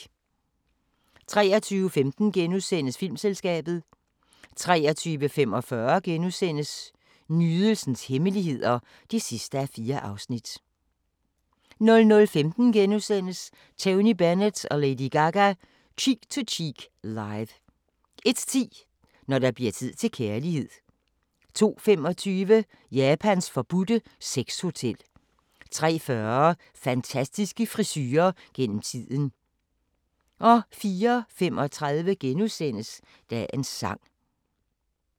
23:15: Filmselskabet * 23:45: Nydelsens hemmeligheder (4:4)* 00:15: Tony Bennett & Lady Gaga – Cheek To Cheek Live * 01:10: Når der bliver tid til kærlighed 02:25: Japans forbudte sexhotel 03:40: Fantastiske frisurer gennem tiden 04:35: Dagens sang *